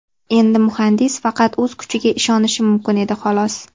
Endi muhandis faqat o‘z kuchiga ishonishi mumkin edi xolos.